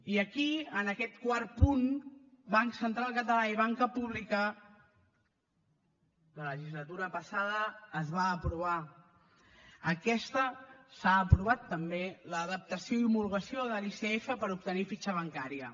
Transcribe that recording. i aquí en aquest quart punt banc central català i banca pública la legislatura passada es va aprovar aquesta s’ha aprovat també l’adaptació i homologació de l’icf per obtenir fitxa bancària